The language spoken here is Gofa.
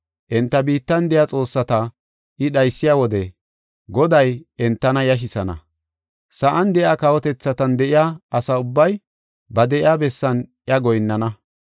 Enta biittan de7iya xoossata I dhaysiya wode Goday entana yashisana. Sa7an de7iya kawotethatan de7iya asa ubbay ba de7iya bessan iya goyinnana.